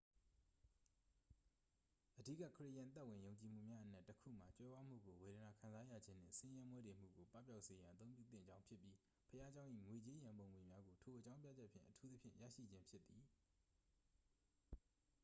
အဓိက ခရစ်ယာန်သက်ဝင်ယုံကြည်မှုများအနက် တစ် ခုမှာ ကြွယ်ဝမှုကို ဝေဒနာခံစားရခြင်းနှင့် ဆင်းရဲမွဲတေမှုကို ပပျောက်စေရန် အသုံးပြုသင့်ကြောင်းဖြစ်ပြီး ဘုရားကျောင်း၏ ငွေကြေးရန်ပုံငွေများကို ထိုအကြောင်းပြချက်ဖြင့် အထူးသဖြင့် ရရှိခြင်းဖြစ်သည်